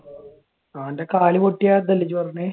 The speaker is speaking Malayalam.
അവന്റെ കാൽ പൊട്ടിയതാന്നല്ലേ ഇജ്ജ് പറഞ്ഞത്?